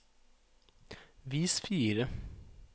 vis fire